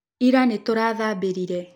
Ila nĩtũrathambĩrire.